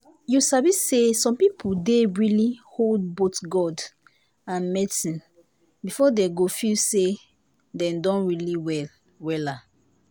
you sabi say some people dey really hold both god and medicine before dem go feel say dem don well wella.